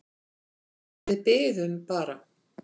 En við biðum bara.